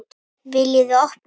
VILJIÐI OPNA!